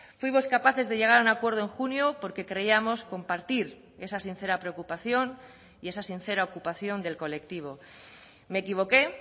fuimos capaces de llegar a un acuerdo en junio porque creíamos compartir esa sincera preocupación y esa sincera ocupación del colectivo me equivoqué